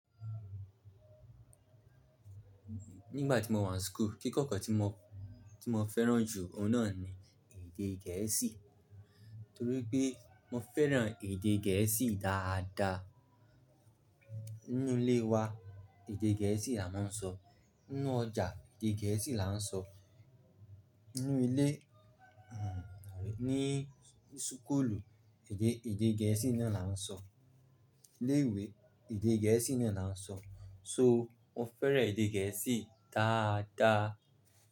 Nígbà tí mo wà n school, kíkọ́kọ́ tí mo, tí mo fẹ́ràn jù ọ̀un nà ni èdè gẹ̀ẹ́sì. Torí pé mo fẹ́ràn èdè gẹ̀ẹ́sì dáadáa. Nínú ilé wa èdè gẹ̀ẹ́sì la máa ń sọ, nínú ọjà èdè gẹ̀ẹ́sì la ń sọ, nínú ilé, hmm àbí ní súkúlù èdè, èdè gẹ̀ẹ́sì náà la ń sọ, ilé ìwé èdè gẹ̀ẹ́sì náà la ń sọ. So mo fẹ́ràn èdè gẹ̀ẹ́sì dáadáa.